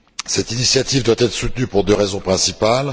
Cette initiative doit être soutenue pour deux raisons principales.